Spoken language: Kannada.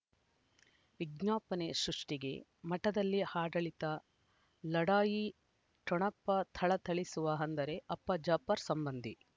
ವಿಜ್ಞಾಪನೆ ಸೃಷ್ಟಿಗೆ ಮಠದಲ್ಲಿ ಆಡಳಿತ ಲಢಾಯಿ ಠೊಣಪ ಥಳಥಳಿಸುವ ಅಂದರೆ ಅಪ್ಪ ಜಾಫರ್ ಸಂಬಂಧಿ